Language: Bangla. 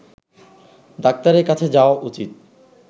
ডাক্তারের কাছে যাওয়া উচিত